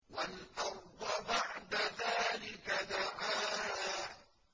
وَالْأَرْضَ بَعْدَ ذَٰلِكَ دَحَاهَا